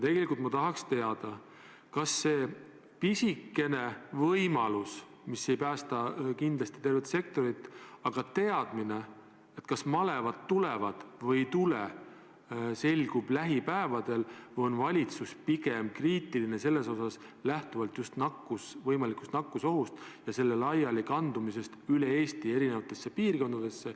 Tegelikult ma tahaks teada, kas see pisikene võimalus, mis kindlasti ei päästaks tervet sektorit, selgub lähipäevadel ja kas valitsus on pigem selle suhtes kriitiline, lähtuvalt just võimalikust nakkusohust ja selle laialikandumisest üle Eesti eri piirkondadesse.